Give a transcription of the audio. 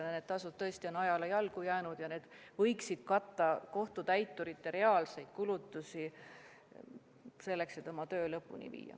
Need tasud tõesti on ajale jalgu jäänud ja need võiksid katta kohtutäiturite reaalseid kulutusi, selleks et nad saaksid oma töö lõpuni viia.